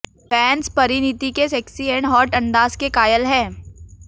fans Parineeti के sexy and hot अंदाज के कायल हैं